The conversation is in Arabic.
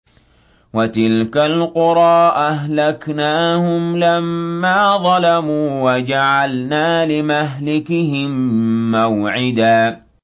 وَتِلْكَ الْقُرَىٰ أَهْلَكْنَاهُمْ لَمَّا ظَلَمُوا وَجَعَلْنَا لِمَهْلِكِهِم مَّوْعِدًا